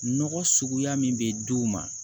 Nɔgɔ suguya min bɛ di u ma